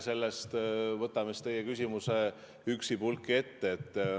Võtame teie küsimuse üksipulgi ette.